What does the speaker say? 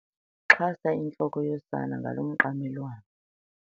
Xhasa intloko yosana ngalo mqamelwana.